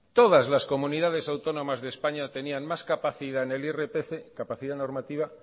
todas las comunidades autónomas de españa tenían más capacidad en el irpf capacidad normativa